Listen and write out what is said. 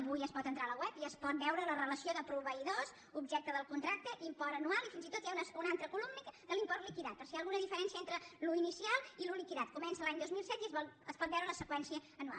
avui es pot entrar a la web i es pot veure la relació de proveïdors objecte del contracte import anual i fins i tot hi ha una altra columna de l’import liquidat per si hi ha alguna diferència entre l’inicial i el liquidat comença l’any dos mil set i es pot veure la seqüència anual